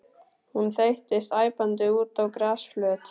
Hún þeyttist æpandi út á grasflöt.